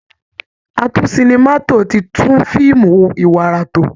Atún-sinima-tò ti tún fíìmù iwara tò